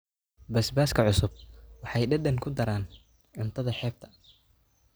Basbaaska basbaaska cusub waxay dhadhan ku daraan cuntada xeebta.